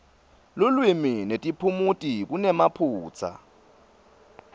lulwimi netiphumuti kunemaphutsa